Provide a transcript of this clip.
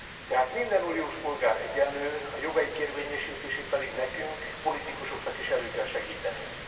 Tehát minden uniós polgár egyenlő, a jogaik érvényesítését pedig nekünk politikusoknak is elő kell segítenünk.